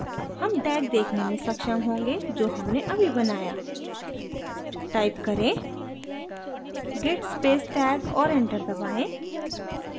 हम tag देखने में सक्षम होंगे जो हमने अभी बनाया टाइप करें git space tag और enter दबाएँ